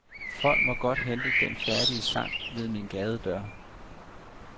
Folk må godt hente den færdige sang ved min gadedør.